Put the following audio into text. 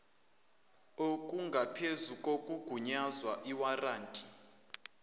okungaphezu kokugunyazwa iwaranti